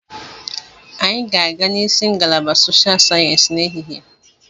Anyị ga-aga n'isi ngalaba Soshal Sayensị n'ehihie.